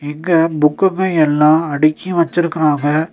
இங்க புக்குங்க எல்லா அடுக்கி வச்சுருக்குறாங்க.